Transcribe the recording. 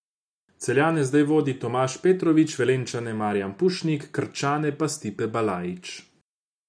Celjane zdaj vodi Tomaž Petrovič, Velenjčane Marijan Pušnik, Krčane pa Stipe Balajić.